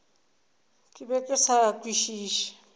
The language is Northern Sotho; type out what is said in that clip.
ke be ke sa kwešiše